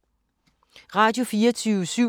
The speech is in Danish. Radio24syv